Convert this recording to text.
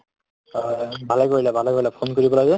ভালে কৰিলা, ভালে কৰিলা phone কৰি পালা যে।